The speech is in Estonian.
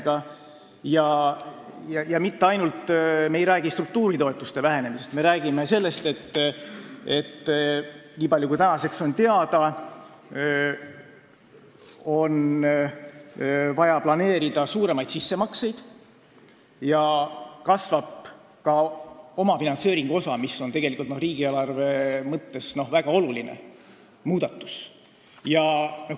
Me ei räägi mitte ainult struktuuritoetuste vähenemisest, me räägime sellest, et nii palju kui tänaseks on teada, on vaja planeerida suuremaid sissemakseid ja kasvab ka omafinantseeringu osa, mis on riigieelarve mõttes väga oluline muudatus.